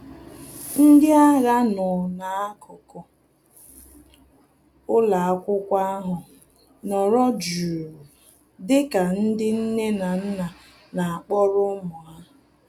Ndị agha nọ na-akuku ụlọakwụkwọ ahụ nọrọ jụụ dịka ndị nne na nna na-akpọrọ ụmụ ha